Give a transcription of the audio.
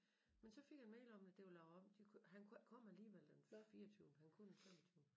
Men så fik jeg en mail om at det var lavet om de kunne han kunne ikke komme alligevel den fireogtyvende han kunne den femogtyvende